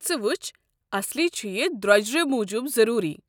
ژٕ وٕچھ، اصلی چھُ یہِ درٛۄجرٕ موٗجوٗب ضروٗری۔